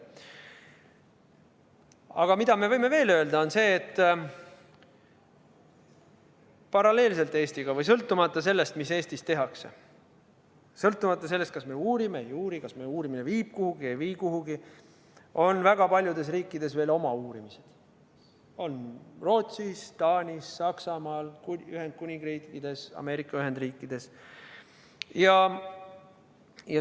Aga mida me veel võime öelda, on see, et paralleelselt Eestiga või sõltumata sellest, mida Eestis tehakse, sõltumata sellest, kas me uurime või ei uuri, kas meie uurimine viib kuhugi või ei vii, on väga paljudes riikides oma uurimised – on Rootsis, Taanis, Saksamaal, Ühendkuningriigis, Ameerika Ühendriikides.